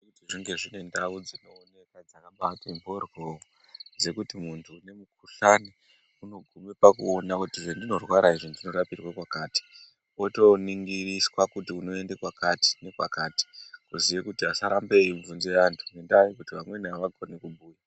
Kuti zvinge zvine ndau dzinooneka dzakabati mboryo dzekuti muntu une mukuhlani unogume pakuona kuti zvendinorwara izvi ndinorapirwe kwakati otoningiriswa kuti unoenda kwakati nekwakati kuziye kuti asarambe eibvunzire antu ngendaya yekuti vamweni avakoni kubhuya.